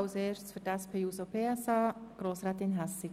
Für die SPJUSO-PSA-Fraktion hat Grossrätin Hässig